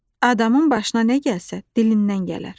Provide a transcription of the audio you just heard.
Adamın başına nə gəlsə, dilindən gələr.